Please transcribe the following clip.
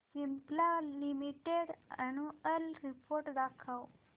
Cipla limited annual report दाखव